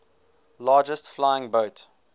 largest flying boat